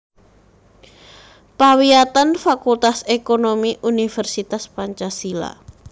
Pawiyatan Fakultas Ekonomi Universitas Pancasila